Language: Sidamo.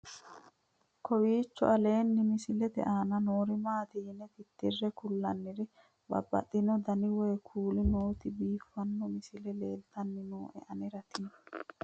kowiicho aleenni misilete aana noori maati yine titire kulliro babaxino dani woy kuuli nooti biiffanno misile leeltanni nooe anera tino